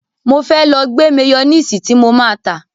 Mo fẹ́ lọ gbẹ́ máyónìsì tí mo má á tà.